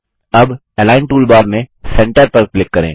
अब align toolbar में centre पर क्लिक करें